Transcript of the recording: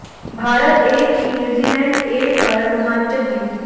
Bharat A की New Zealand A पर रोमांचक जीत